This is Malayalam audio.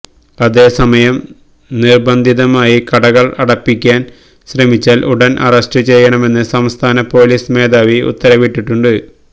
അതേസമയം നിർബന്ധിതമായി കടകൾ അടപ്പിക്കാൻ ശ്രമിച്ചാൽ ഉടൻ അറസ്റ്റ് ചെയ്യണമെന്ന് സംസ്ഥാന പൊലീസ് മേധാവി ഉത്തരവിട്ടിട്ടുണ്ട്